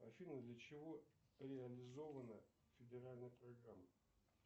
афина для чего реализована федеральная программа